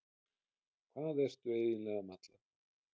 Hvað ertu eiginlega að malla?